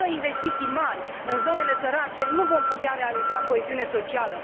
Fără investiții mari în zonele sărace nu vom putea realiza coeziune socială.